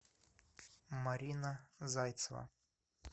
марина зайцева